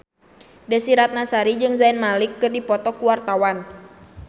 Desy Ratnasari jeung Zayn Malik keur dipoto ku wartawan